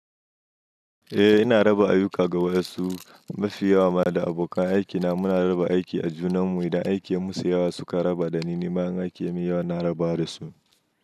Eh ina raba ayuka ga wasu, mafi yawa ma da abokan aikina muna raba aiki a junan mu idan aikin ya musu yawa suka raba dani, nima aikin ya min yawa na raba dasu.